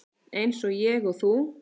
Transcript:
Eins og ég og þú.